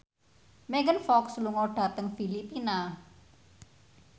Megan Fox lunga dhateng Filipina